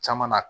Caman na